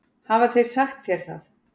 Hafa þeir sagt þér það?